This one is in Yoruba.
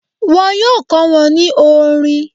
Wọn yóò kọ́ wọn ní orin.